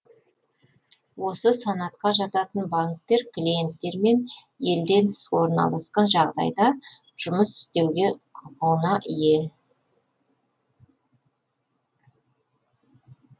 осы санатқа жататын банктер клиенттермен елден тыс орналасқан жағдайда жұмыс істеуге құқығына ие